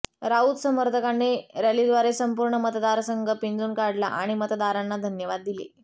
राऊत समर्थकांनी रॅलीद्वारे संपूर्ण मतदारसंघ पिंजून काढला आणि मतदारांना धन्यवाद दिले